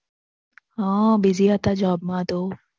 હા Busy હતા Job માં તો